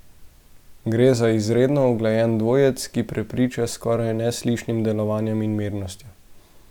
Gre za izredno uglajen dvojec, ki prepriča s skoraj neslišnim delovanjem in mirnostjo.